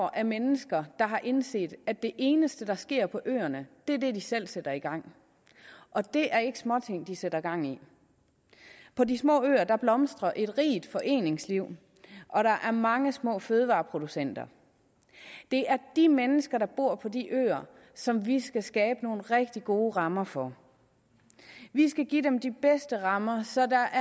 af mennesker der har indset at det eneste der sker på øerne er det de selv sætter i gang og det er ikke småting de sætter gang i på de små øer blomstrer et rigt foreningsliv og der er mange små fødevareproducenter det er de mennesker der bor på de øer som vi skal skabe nogle rigtig gode rammer for vi skal give dem de bedste rammer så der